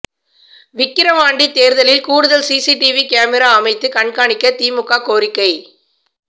விக்கிரவாண்டி தேர்தலில் கூடுதல் CCTV camera அமைத்து கண்காணிக்க திமுக கோரிக்கை